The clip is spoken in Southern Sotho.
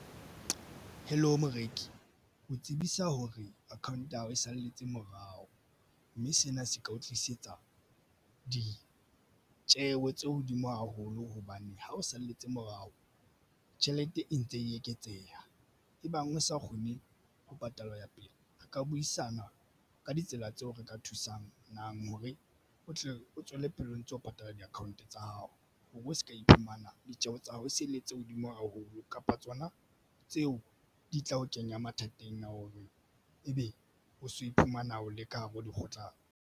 Hello moreki o tsebisa hore account ya hao e salletse morao, mme sena se ka o tlisetsa ditjeho tse hodimo haholo hobane ha o salletse morao tjhelete e ntse e eketseha. Ebang o sa kgone ho patala ho ya pele re ka buisana ka ditsela tseo re ka thusang hore o tle o tswelle pele o ntso patala di account tsa hao o bo se ka iphumana ditjeho tsa hao se le tse hodimo haholo kapa tsona tseo di tla o kenya mathateng a ebe o so o iphumana o le ka hare ho dikgutlano.